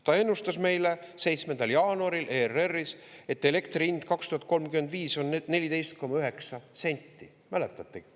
Ta ennustas meile 7. jaanuaril ERR-is, et elektri hind 2035 on 14,9 senti – mäletate?